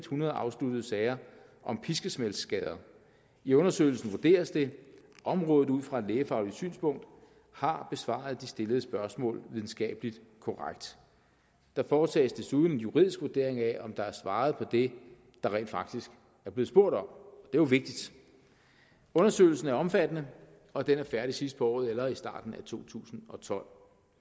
hundrede afsluttede sager om piskesmældsskader i undersøgelsen vurderes det om rådet ud fra et lægefagligt synspunkt har besvaret de stillede spørgsmål videnskabeligt korrekt der foretages desuden en juridisk vurdering af om der er svaret på det der rent faktisk er blevet spurgt om det jo vigtigt undersøgelsen er omfattende og den er færdig sidst på året eller i starten af to tusind og tolv